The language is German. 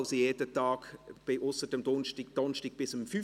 Wir werden gleich bei den Ordnungsanträgen darauf zu sprechen kommen.